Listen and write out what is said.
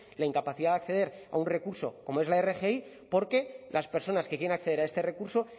la incapacidad de acceder a un recurso como es la rgi porque las personas que quieren acceder a este recurso